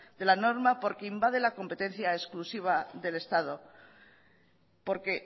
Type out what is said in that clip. de la norma porque invade la competencia exclusiva del estado porque